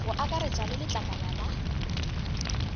go akaretša le letlakala la